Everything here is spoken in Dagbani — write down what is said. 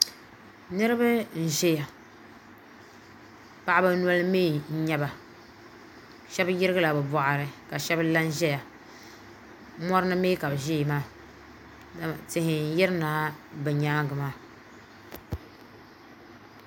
Niriba n ʒɛya paɣaba noli mee n nyɛba sheba yirigila bɛ boɣari ka shebala n ʒɛya morini mee ka bɛ ʒɛya maa yihi n yirina bɛ nyaanga maa.